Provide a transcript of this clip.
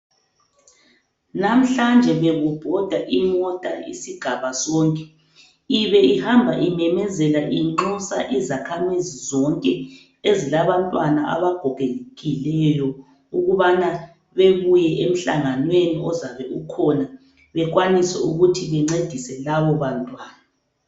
Namhlanje bekubhoda imota isigaba sonke ibe ihamba imemezela inxusa izakhamizi zonke ezilabantwana abagogekileyo ukubana bebuye emhlanganweni ozabe ukhona bekwanise ukuthi bencedise labo bantwana.